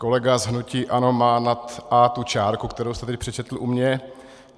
Kolega z hnutí ANO má nad a tu čárku, kterou jste teď přečetl u mě.